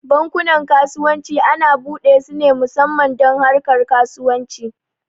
Bankunan kasuwanci ana buɗe su ne musamman don harkar kasuwanci